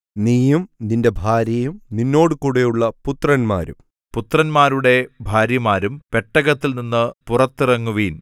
നീയും നിന്റെ ഭാര്യയും നിന്നോടുകൂടെയുള്ള പുത്രന്മാരും പുത്രന്മാരുടെ ഭാര്യമാരും പെട്ടകത്തിൽനിന്നു പുറത്തിറങ്ങുവിൻ